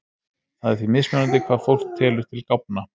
Það er því mismunandi hvað fólk telur til gáfna.